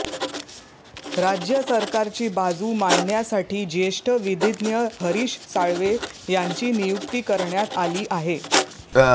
राज्य सरकारची बाजू मांडण्यासाठी ज्येष्ठ विधिज्ञ हरीश साळवे यांची नियुक्ती करण्यात आली आहे